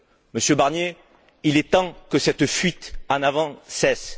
Monsieur Barnier, il est temps que cette fuite en avant cesse.